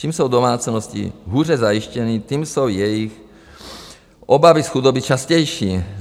Čím jsou domácnosti hůře zajištěny, tím jsou jejich obavy z chudoby častější.